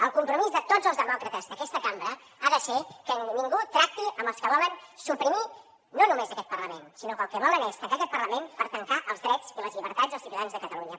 el compromís de tots els demòcrates d’aquesta cambra ha de ser que ningú tracti amb els que volen no només suprimir aquest parlament sinó que el que volen és tancar aquest parlament per tancar els drets i les llibertats dels ciutadans de catalunya